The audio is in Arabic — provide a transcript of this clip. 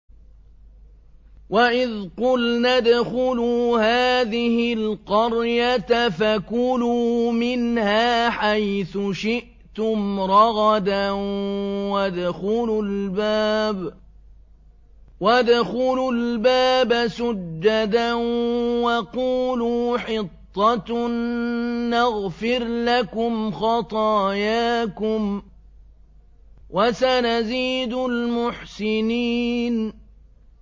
وَإِذْ قُلْنَا ادْخُلُوا هَٰذِهِ الْقَرْيَةَ فَكُلُوا مِنْهَا حَيْثُ شِئْتُمْ رَغَدًا وَادْخُلُوا الْبَابَ سُجَّدًا وَقُولُوا حِطَّةٌ نَّغْفِرْ لَكُمْ خَطَايَاكُمْ ۚ وَسَنَزِيدُ الْمُحْسِنِينَ